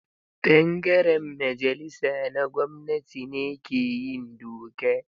Ɓangaren majalisa na gwamnati ne ke yin doka.